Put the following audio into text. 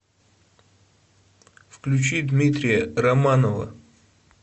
включи дмитрия романова